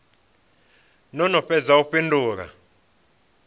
no no fhedza u fhindula